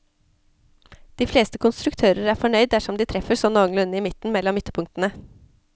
De fleste konstruktører er fornøyd dersom de treffer sånt noenlunde i midten mellom ytterpunktene.